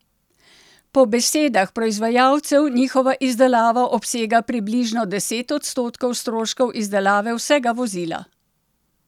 Po besedah proizvajalcev njihova izdelava obsega približno deset odstotkov stroškov izdelave vsega vozila!